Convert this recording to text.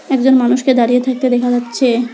একজন মানুষকে দাঁড়িয়ে থাকতে দেখা যাচ্ছে।